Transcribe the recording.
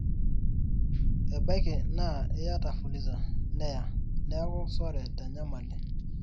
ebaiki naa iyata fuliza neya neeku sore tenyamali